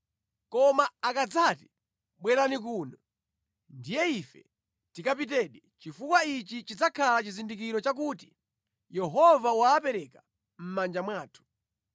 Koma akadzati, ‘Bwerani kuno,’ ndiye ife tikapitedi, chifukwa ichi chidzakhala chizindikiro chakuti Yehova wapereka mʼmanja mwathu.”